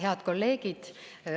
Head kolleegid!